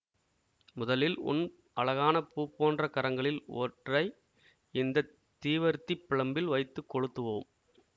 முதலில் உன் அழகான பூ போன்ற கரங்களில் ஒற்றை இந்த தீவர்த்திப் பிழம்பில் வைத்து கொளுத்துவோம்